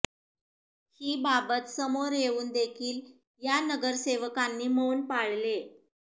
ही बाबत समोर येवून देखील या नगरसेवकांनी मौन पाळले